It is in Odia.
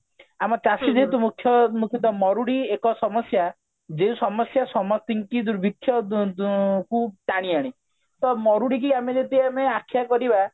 ଆମ ଚାଷୀ ଯେହେତୁ ମୁଖ୍ୟ ମୁକୁଟ ମରୁଡି ଏକ ସମସ୍ଯା ଯୋଉ ସମସ୍ଯା ସମସ୍ତିଙ୍କୁ ଦୁର୍ଭିକ୍ଷ ଦୂ ଦୂ କୁ ଟାଣି ଆଣେ ତ ମରୁଡିକୁ ଆମେ ଯଦି ଆମେ ଆଖ୍ୟା କରିବା